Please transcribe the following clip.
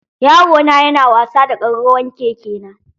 Yarona yana wasa da ƙararrawan keke na.